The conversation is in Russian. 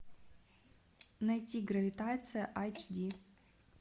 найти гравитация айч ди